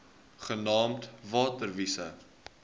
genaamd water wise